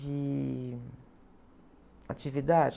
De atividade?